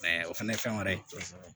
o fɛnɛ ye fɛn wɛrɛ ye